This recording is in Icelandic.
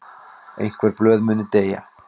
Einhver blöð muni deyja